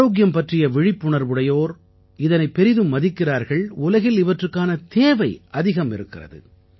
ஆரோக்கியம் பற்றிய விழிப்புணர்வுடையோர் இதனைப் பெரிதும் மதிக்கிறார்கள் உலகில் இவற்றுக்கான தேவை அதிகம் இருக்கிறது